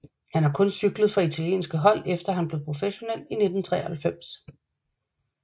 Han har kun cyklet for italienske hold efter at han blev professionel i 1993